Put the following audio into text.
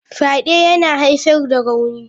Fyade yana haifar da rauni.